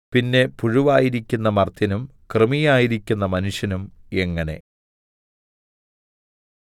പിന്നെ പുഴുവായിരിക്കുന്ന മർത്യനും കൃമിയായിരിക്കുന്ന മനുഷ്യനും എങ്ങനെ